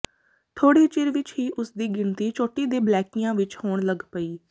ਥੋੜ੍ਹੇ ਚਿਰ ਵਿੱਚ ਹੀ ਉਸਦੀ ਗਿਣਤੀ ਚੋਟੀ ਦੇ ਬਲੈਕੀਆਂ ਵਿੱਚ ਹੋਣ ਲੱਗ ਪਈ